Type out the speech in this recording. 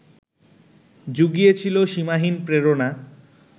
জুগিয়েছিল সীমাহীন প্রেরণা